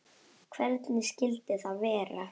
Hvernig skyldi það vera?